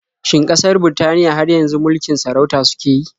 Shin ƙasar Birtaniya har yanzu mulikin sarauta suke yi?